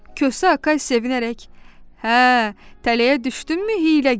Kosa Akay sevinərək: "Hə, tələyə düşdünmü, hiyləgər?